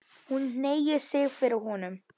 Hún hneigir sig fyrir honum.